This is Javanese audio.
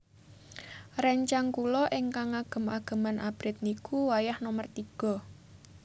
Rencang kulo ignkang ngagem ageman abrit niku wayah nomer tigo